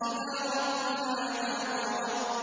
إِلَىٰ رَبِّهَا نَاظِرَةٌ